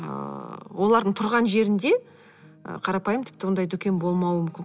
ыыы олардың тұрған жерінде ы қарапайым тіпті ондай дүкен болмауы мүмкін